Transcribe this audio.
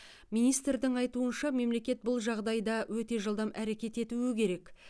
министрдің айтуынша мемлекет бұл жағдайда өте жылдам әрекет етуі керек